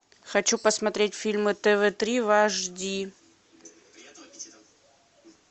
хочу посмотреть фильмы тв три в аш ди